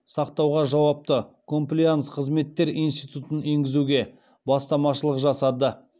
сақтауға жауапты комплаенс қызметтер институтын енгізуге бастамашылық жасады